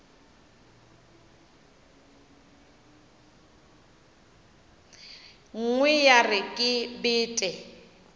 nngwe ya re ke bete